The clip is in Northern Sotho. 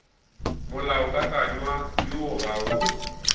molaokakanywa woo o ga o